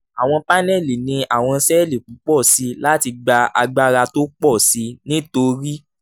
àwọn paneli ní àwọn sẹ́ẹ̀lì púpọ̀ sí i láti gba agbára tó pọ̀ sí i nítorí